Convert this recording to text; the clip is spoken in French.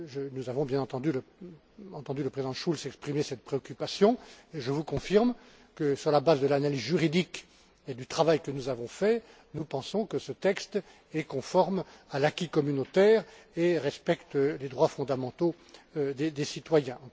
Nous avons, bien sûr, entendu le Président Schulz exprimer cette préoccupation et je vous confirme que, sur la base de l'analyse juridique et du travail que nous avons réalisés, nous pensons que ce texte est conforme à l'acquis communautaire et respecte les droits fondamentaux des citoyens.